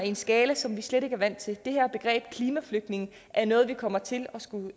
en skala som vi slet ikke er vant til det her begreb klimaflygtninge er noget vi kommer til at skulle